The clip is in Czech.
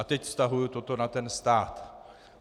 A teď vztahuji toto na ten stát.